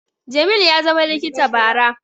Jamil ya zama likita bara